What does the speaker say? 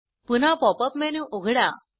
पुन्हा pop up menu उघडा